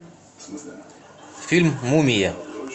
фильм мумия